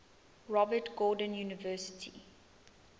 robert gordon university